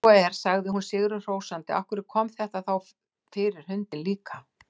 Ef svo er, sagði hún sigri hrósandi, af hverju kom þetta þá fyrir hundinn líka?